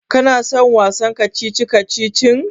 Kana son wasan kacici-kacicin?